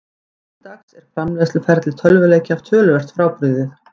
Nú til dags er framleiðsluferli tölvuleikja töluvert frábrugðið.